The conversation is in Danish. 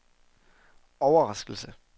overraskelse